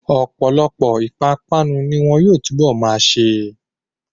Ọ̀pọ̀lọpọ̀ ìpápánu ni wọn yóò túnbọ̀ máa ṣe.